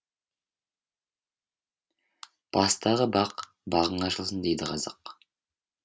бастағы бақ бағың ашылсын дейді қазақ